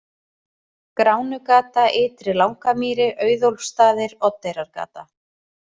Gránugata, Ytri-Langamýri, Auðólfsstaðir, Oddeyrargata